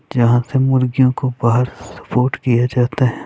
जहां से मुर्गियों को सपोर्ट किया जाता है।